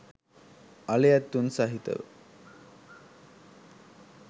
අලි ඇතුන් සහිතව